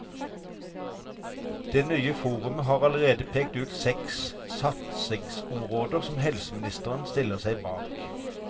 Det nye forumet har allerede pekt ut seks satsingsområder som helseministeren stiller seg bak.